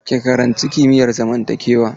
Ki karanci kimiyar zamantakewa!